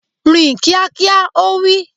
Rìn kíákíá! Ó wí.